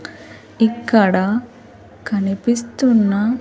ఇక్కడ కనిపిస్తున్న.